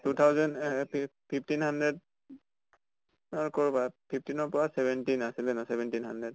two thousand এহ fifteen hundred অ কৰবাত fifteen ৰ পৰা seventeen আছিলে না seventeen hundred